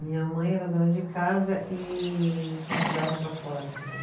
Minha mãe era dona de casa e costurava para fora também.